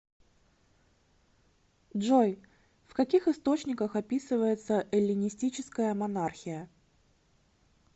джой в каких источниках описывается эллинистическая монархия